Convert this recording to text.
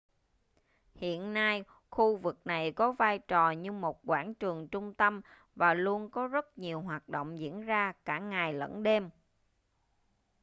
hiện nay khu vực này có vai trò như một quảng trường trung tâm và luôn có rất nhiều hoạt động diễn ra cả ngày lẫn đêm